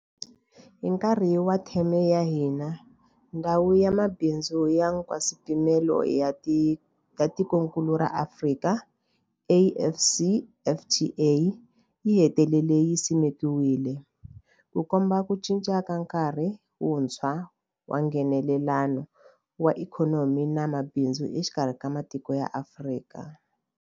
Hi nkarhi wa theme ya hina, Ndhawu ya Mabindzu ya Nkaswipimelo ya Tikokulu ra Afrika, AfCFTA, yi hetelele yi simekiwile, Ku komba ku cinca ka nkarhi wuntshwa wa Nghenelelano wa ikhonomi na mabindzu exikarhi ka matiko ya Afrika.